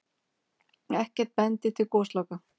Ekkert bendi til gosloka.